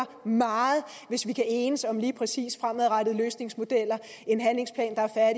meget hvis vi kan enes om lige præcis fremadrettede løsningsmodeller en handlingsplan der er